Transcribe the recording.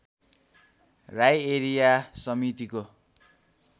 Rai area समितिको